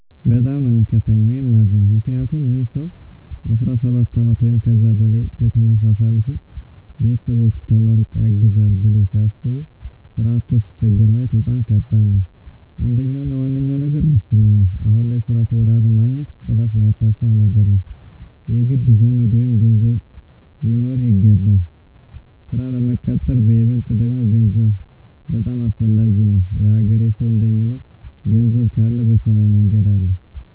በጣም ነው ሚከፋኝ ወይም ማዝነው ምክንያቱም ይህ ሰው 17 አመት ወይም ከዛ በላይ በትምህርት አሳልፎ ቤተሰቦቹ ተመርቆ ያግዘናል ብለው ሲያስቡ ስራ አቶ ሲቸገር ማየት በጣም ከባድ ነው። አንደኛው እና ዋነኛው ነገር ሙስና ነው አሁን ላይ ስራ ተወዳድሮ ማግኜት ጭራሽ ማይታሰብ ነገር ነው። የግድ ዘመድ ወይም ገንዘብ ሊኖርህ ይገባል ስራ ለመቀጠር በይበልጥ ደግሞ ገንዘብ በጣም አሰፈላጊ ነው። የሀገሬ ሰው እንደሚለው ገንዘብ ካለ በሰማይ መንገድ አለ።